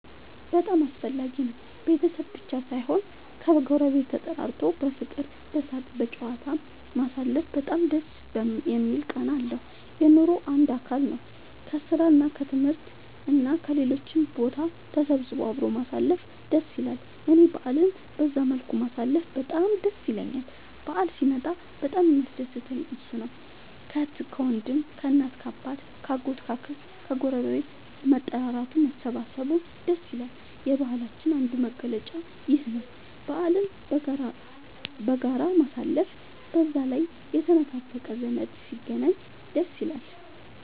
በጣም አስፈላጊ ነው ቤተሰብ ብቻ ሳይሆን ከ ጎረቤት ተጠራርቶ በፍቅር በሳቅ በጨዋታ ማሳለፉ በጣም ደስ የሚል ቃና አለው። የኑሮ አንዱ አካል ነው። ከስራ እና ከትምህርት እና ከሌሎችም ቦታ ተሰብስቦ አብሮ ማሳለፍ ደስ ይላል እኔ በአልን በዛ መልኩ ማሳለፍ በጣም ደስ ይለኛል በአል ሲመጣ በጣም የሚያስደስተኝ እሱ ነው። ከአህት ከወንድም ከእናት ከአባት ከ አጎት ከ አክስት ከግረቤት መጠራራቱ መሰባሰብ ደስ ይላል። የባህላችንም አንዱ መገለጫ ይኽ ነው በአልን በጋራ ማሳለፍ። በዛ ላይ የተነፋፈቀ ዘመድ ሲገናኝ ደስ ይላል